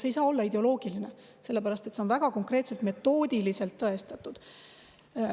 See ei saa olla ideoloogiline, sellepärast et see on väga konkreetselt metoodiliselt tõestatud.